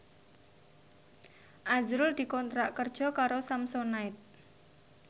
azrul dikontrak kerja karo Samsonite